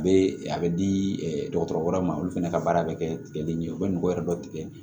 A bɛ a bɛ di dɔgɔtɔrɔ wɛrɛw ma olu fana ka baara bɛ kɛ tigɛli ɲɛ u bɛ nugu wɛrɛ dɔ tigɛ